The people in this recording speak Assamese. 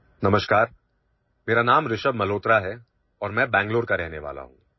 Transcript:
নমস্কাৰ মোৰ নাম ঋষৱ মালহোত্ৰা মই বাংগালুৰুত বসবাস কৰো